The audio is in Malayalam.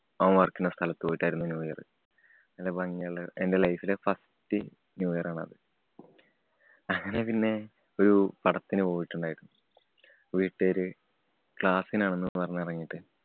അവന്‍ പാര്‍ക്കുന്ന സ്ഥലത്തുപോയിട്ടായിരുന്നു new year. നല്ല ഭംഗിയുള്ള, എന്‍റെ life ലെ first new year ആണത്. അങ്ങനെ പിന്നെ ഒരു പടത്തിനു പോയിട്ടുണ്ടാരുന്നു. വീട്ടാര് class നു ആണെന്ന് പറഞ്ഞെറങ്ങിട്ട്